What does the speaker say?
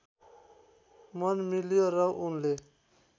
मन मिल्यो र उनले